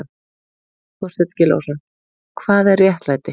Þorstein Gylfason, Hvað er réttlæti?